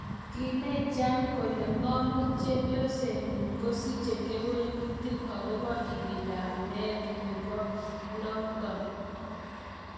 Kinai jan kole ngomuut chepyoseet nyi kosiche kewelutik agopo ibinda ap meet nepoolonotok.